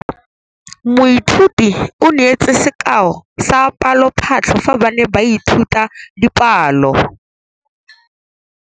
Moithuti o neetse sekaô sa palophatlo fa ba ne ba ithuta dipalo.